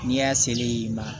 N'i y'a selen ye i ma